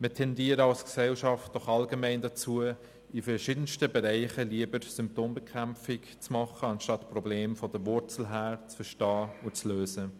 Wir tendieren aber als Gesellschaft allgemein dazu, in verschiedensten Bereichen lieber Symptombekämpfung zu betreiben, statt Probleme von der Wurzel her zu verstehen und zu lösen.